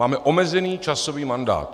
Máme omezený časový mandát.